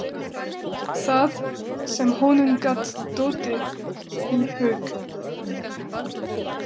Það sem honum gat dottið í hug!